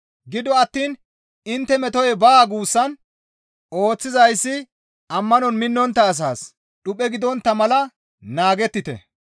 Gido attiin intte metoy baa guussan ooththizayssi ammanon minnontta asaas dhuphe gidontta mala naagettite.